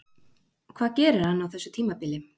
Hvað gerir hann á þessu tímabili?